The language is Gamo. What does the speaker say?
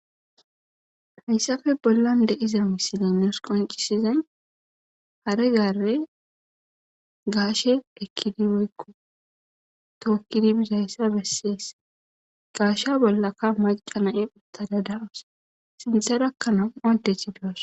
Hayssafe bollan de7iza misilay nuus qoncisizay hare gaare gaashe ekkidi woykko tookkidi bizayssa bessees. Gaasha bollaka macca na7i uttada da7aws sintharakka nam7u addzi doos.